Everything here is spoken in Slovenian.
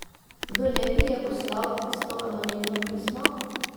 Kdo neki ji je poslal tisto anonimno pismo?